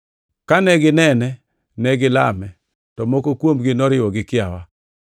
Kane ginene to negilame; to moko kuomgi noriwo gi kiawa.